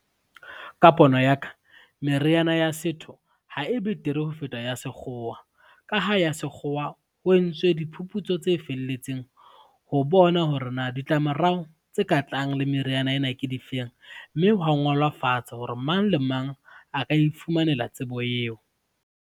Ka pono ya ka, meriana ya setho ha e betere ho feta ya sekgowa. Ka ha ya sekgowa, ho entswe diphuputso tse felletseng ho bona hore na ditlamorao tse ka tlang le meriana ena ke difeng, mme hwa ngola fatshe hore mang le mang a ka ifumanela tsebo eo.